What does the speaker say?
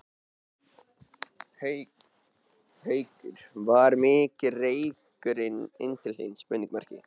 Haukur: Var mikill reykur inn til þín?